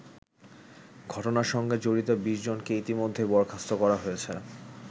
ঘটনার সঙ্গে জড়িত ২০জনকে ইতিমধ্যেই বরখাস্ত করা হয়েছে।